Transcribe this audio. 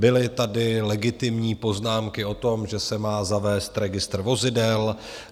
Byly tady legitimní poznámky o tom, že se má zavést registr vozidel.